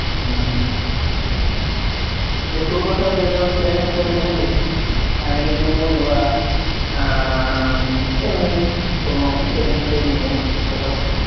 হম দিয়ে তোর কোথাও যাবার planning হয়েছে নাকি, family tour বা আহ এমনি, কোন friend দের নিয়ে কোথাও,